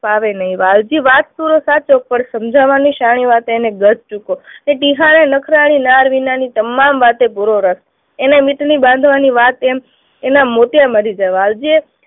નહી. વાલજી વાત પૂરે સાચો પણ સમજાવાની શાણી વાતે એને અને ટીહાને નખરાળી નાળ વિનાની તમામ વાતે પૂરો રસ. એને ની બાંધવાની વાત એમ